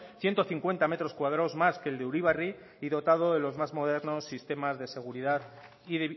ciento cincuenta metros cuadrados más que el de uribarri y dotado de los más modernos sistemas de seguridad y